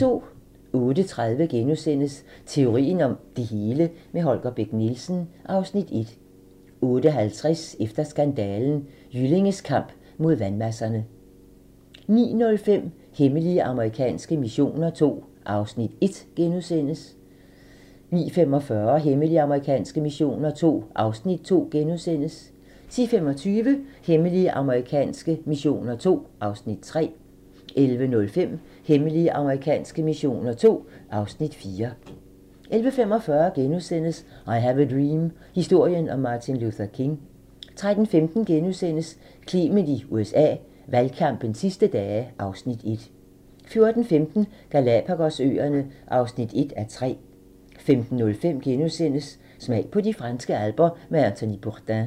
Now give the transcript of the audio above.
08:30: Teorien om det hele - med Holger Bech Nielsen (Afs. 1)* 08:50: Efter skandalen: Jyllinges kamp mod vandmasserne 09:05: Hemmelige amerikanske missioner II (Afs. 1)* 09:45: Hemmelige amerikanske missioner II (Afs. 2)* 10:25: Hemmelige amerikanske missioner II (Afs. 3) 11:05: Hemmelige amerikanske missioner II (Afs. 4) 11:45: I have a dream - historien om Martin Luther King * 13:15: Clement i USA: Valgkampens sidste dage (Afs. 1)* 14:15: Galapagos-øerne (1:3) 15:05: Smag på de franske alper med Anthony Bourdain *